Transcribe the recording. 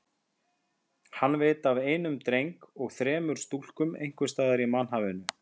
Hann veit af einum dreng og þremur stúlkum einhvers staðar í mannhafinu.